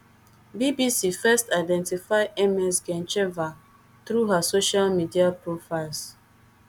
bbc first identify ms gencheva through her social media profiles